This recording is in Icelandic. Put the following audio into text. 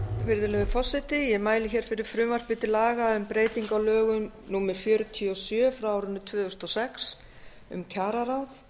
virðulegi forseti ég mæli fyrir frumvarpi til laga um breytingu á lögum númer fjörutíu og sjö tvö þúsund og sex um kjararáð